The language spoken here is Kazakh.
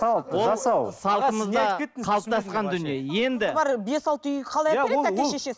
салт жасау салтымызда қалыптасқан дүние енді бес алты үй қалай әпереді әке шешесі